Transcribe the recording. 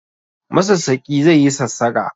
Masassaƙi zai yi sassaƙa